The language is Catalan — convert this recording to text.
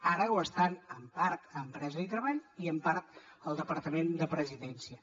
ara ho estan en part a empresa i treball i en part al departament de presidència